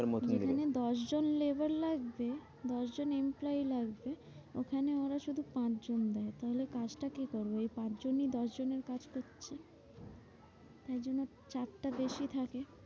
যেখানে দশজন labour লাগছে দশজন employee লাগছে। ওখানে ওরা শুধু পাঁচজন দেয়। তাহলে কাজ টা কে করবে? তাহলে ওই পাঁচজনই দশজনের কাজ করছে। তাইজন্য চাপটা বেশি থাকে।